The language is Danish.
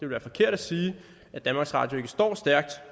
være forkert at sige at danmarks radio ikke står stærkt